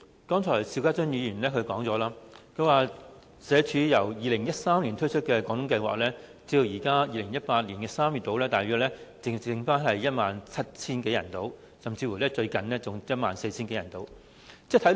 主席，邵家臻議員剛才提到，社會福利署自2013年推出"廣東計劃"至今，截至2018年3月，只有大約 17,000 多人參與，最近甚至降至 14,000 多人。